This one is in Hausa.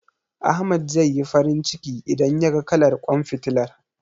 Ahmad zai yi farin ciki, idan yaga kalar ƙwan fitilar.